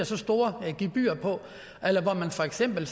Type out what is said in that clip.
så store gebyrer på eller hvor man for eksempel